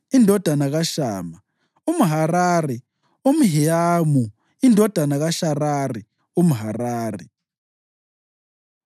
indodana kaShama umHarari, u-Ahiyamu indodana kaSharari umHarari,